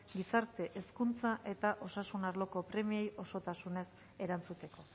gizarte hezkuntza eta osasun arloko premiei osotasunez erantzuteko